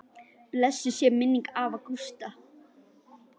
Blessuð sé minning afa Gústa.